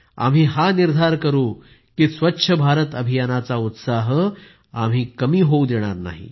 आम्ही हा निर्धार करू की स्वच्छ भारत अभियानाचा उत्साह कमी होऊ देणार नाही